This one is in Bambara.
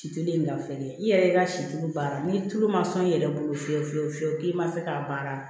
Si telen ye ka feere i yɛrɛ i ka situ baara ni tulu ma sɔn i yɛrɛ bolo fiyewu fiyewu fiyewu k'i ma fɛ k'a baara